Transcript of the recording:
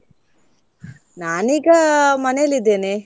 ನಾನೀಗ ಮನೇಲಿದ್ದೇನೆ.